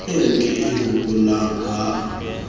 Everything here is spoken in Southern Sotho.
eo ke e hopolang ha